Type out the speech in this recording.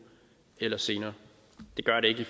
eller senere det gør det ikke i